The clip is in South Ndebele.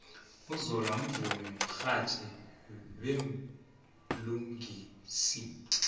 uzola mvumi mxhatjhi bemlingisi